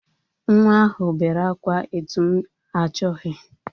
Nwa ahụ bere akwa etu m achọghi.